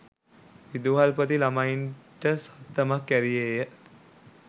විදුහල්පති ළමයින්ට සත්තමක් ඇරියේය